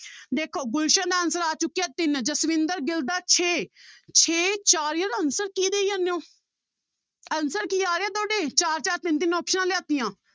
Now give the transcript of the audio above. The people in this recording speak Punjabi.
ਦੇਖੋ ਗੁਲਸਨ ਦਾ answer ਆ ਚੁੱਕਿਆ ਤਿੰਨ ਜਸਵਿੰਦਰ ਗਿੱਲ ਦਾ ਛੇ ਛੇ ਚਾਰ ਯਾਰ answer ਕੀ ਦੇਈ ਜਾਂਦੇ ਹੋ answer ਕੀ ਆ ਰਿਹਾ ਤੁਹਾਡੇ ਚਾਰ ਚਾਰ ਤਿੰਨ ਤਿੰਨ ਆਪਸਨਾਂ ਲਿਆ ਦਿੱਤੀਆਂ